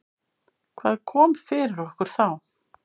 Hvað kom yfir okkur þá?